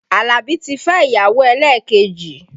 Alabi ti fẹ́ ìyàwó elekeji